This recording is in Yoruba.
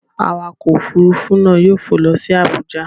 Awakọ̀ òfuurufú náà yóò fò lọ sí Abuja.